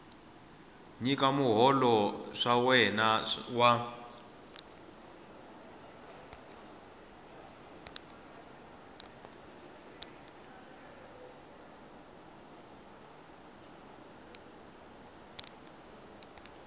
nyika muholo wa wena wa